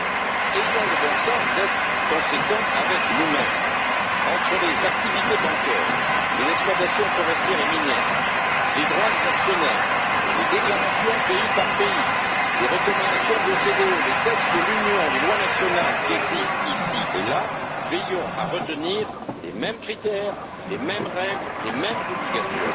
Mais ayons le bon sens d'être conséquents entre les activités bancaires, les exploitations forestières et minières, les droits des actionnaires, les déclarations pays par pays, les recommandations de l'OCDE, les textes de l'Union et les lois nationales qui existent, ici et là, veillons à retenir les mêmes critères, les mêmes règles et les mêmes obligations.